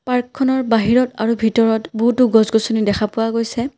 পাৰ্কখনৰ বাহিৰত আৰু ভিতৰত বহুতো গছ-গছনী দেখা পোৱা গৈছে।